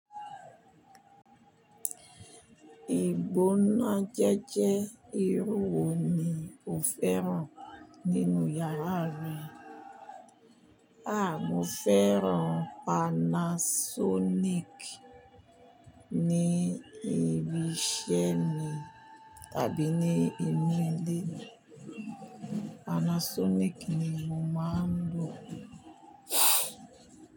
Ìgbóná jẹ́jẹ́ irú wo ni o fẹ́ràn nínú yàrá rẹ? Aà, mo fẹ́ràn Panasonic ní ibi iṣẹ́ mi tàbí ní inú ilé mi. Panasonic ni mo máa ń lò.